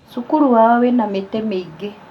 Cukuru wao wĩna mĩtĩ mĩingĩ